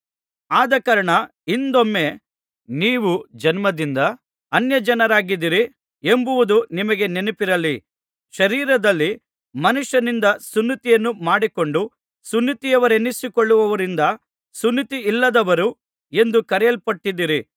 ಆದಕಾರಣ ಹಿಂದೊಮ್ಮೆ ನೀವು ಜನ್ಮದಿಂದ ಅನ್ಯಜನರಾಗಿದ್ದೀರಿ ಎಂಬುದು ನಿಮಗೆ ನೆನಪಿರಲಿ ಶರೀರದಲ್ಲಿ ಮನುಷ್ಯನಿಂದ ಸುನ್ನತಿಯನ್ನು ಮಾಡಿಸಿಕೊಂಡು ಸುನ್ನತಿಯವರೆನ್ನಿಸಿಕೊಳ್ಳುವವರಿಂದ ಸುನ್ನತಿಯಿಲ್ಲದವರು ಎಂದು ಕರೆಯಲ್ಪಟ್ಟಿದ್ದೀರಿ